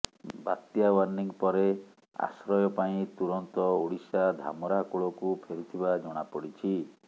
ବାତ୍ୟା ୱାର୍ଣ୍ଣିଂ ପରେ ଆଶ୍ରୟ ପାଇଁ ତୁରନ୍ତ ଓଡ଼ିଶା ଧାମରା କୂଳକୁ ଫେରିଥିବା ଜଣାପଡ଼ିଛି